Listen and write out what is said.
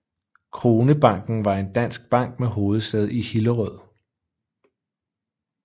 Kronebanken var en dansk bank med hovedsæde i Hillerød